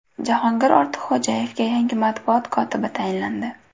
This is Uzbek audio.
Jahongir Ortiqxo‘jayevga yangi matbuot kotibi tayinlandi.